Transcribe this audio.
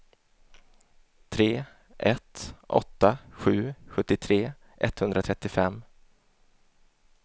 tre ett åtta sju sjuttiotre etthundratrettiofem